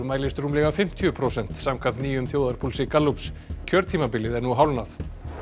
mælist rúmlega fimmtíu prósent samkvæmt nýjum þjóðarpúlsi Gallups kjörtímabilið er nú hálfnað